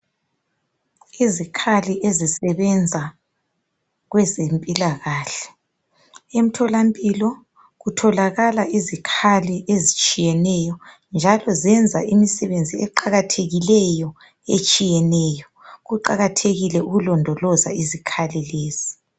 Izikhali ezisebenza kwezempilakahle. Emtholampilo kutholakala izikhathi ezitshiyeneyo njalo ziyenza imisebenzi eqakathekileyo etshiyeneyo kuqakathekile ukulondoloza izikhali lezi.